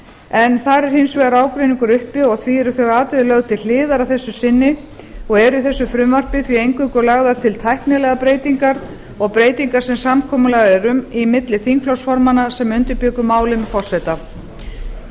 en þar er hins vegar ágreiningur uppi og því eru þau atriði lögð til hliðar að þessu sinni og eru í þessu frumvarpi því eingöngu lagðar til tæknilegar breytingar og breytingar sem samkomulag er um milli þingflokksformanna sem undirbjuggu málin með forseta ég